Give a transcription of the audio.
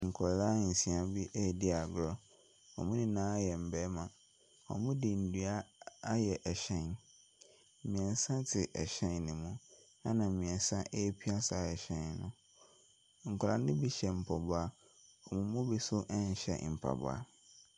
Nkwadaa nsia bi redi agorɔ, Wɔn nyinaa yɛ mmarima. Wɔde nnua ayɛ ɛhyɛn. Mmeɛnsa te ɛhyɛn no mu, ɛna mmeɛnsa repia saa ɛhyɛn no. Nkwadaa no bi hyɛ mpaboa, wɔn mu bi so nhyɛ mpaboa.